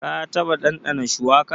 Ka taɓa ɗanɗana shuwaka?